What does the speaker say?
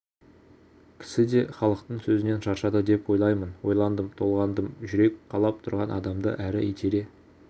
кісі де халықтың сөзінен шаршады деп ойлаймын ойландым толғандым жүрек қалап тұрған адамды әрі итере